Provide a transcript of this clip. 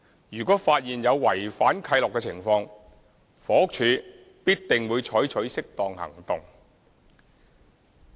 如果發現有違反契諾的情況，房屋署必定會採取適當行動。